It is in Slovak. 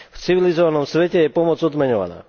V civilizovanom svete je pomoc odmeňovaná.